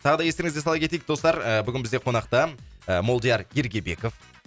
тағы да естеріңізге сала кетейік достар ы бүгін бізде қонақта ы молдияр ергебеков